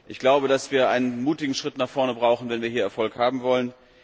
Ich glaube, dass wir einen mutigen Schritt nach vorne brauchen, wenn wir hier Erfolg haben wollen.